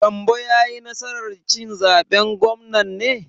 Gambo ya yi nasar cin zaben gwamnan ne?